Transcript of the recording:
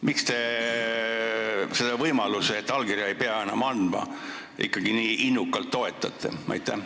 Miks te seda võimalust, et allkirja ei pea enam andma, ikkagi nii innukalt toetate?